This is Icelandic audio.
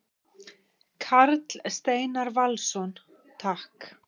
Karl Steinar Valsson: Takk.